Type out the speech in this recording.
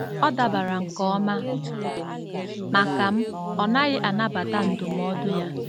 Ọ dabara nke ọma maka m, ọ naghị anabata ndụmọdụ ya.